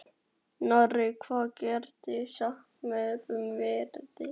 Nóri, hvað geturðu sagt mér um veðrið?